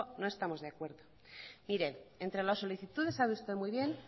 no estamos de acuerdo mire entre las solicitudes sabe usted muy bien